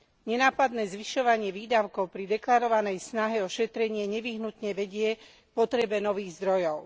Nenápadné zvyšovanie výdavkov pri deklarovanej snahe o šetrenie nevyhnutne vedie k potrebe nových zdrojov.